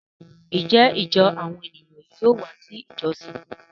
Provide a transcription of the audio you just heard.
Njẹ ijọ awọn eniyan yóò wá si ijọsin yí?